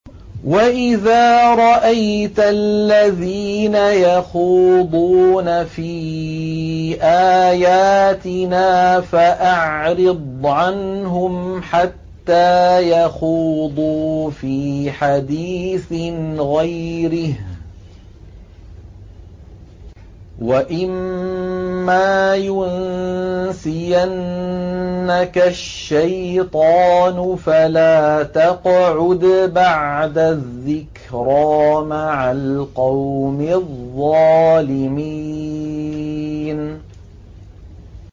وَإِذَا رَأَيْتَ الَّذِينَ يَخُوضُونَ فِي آيَاتِنَا فَأَعْرِضْ عَنْهُمْ حَتَّىٰ يَخُوضُوا فِي حَدِيثٍ غَيْرِهِ ۚ وَإِمَّا يُنسِيَنَّكَ الشَّيْطَانُ فَلَا تَقْعُدْ بَعْدَ الذِّكْرَىٰ مَعَ الْقَوْمِ الظَّالِمِينَ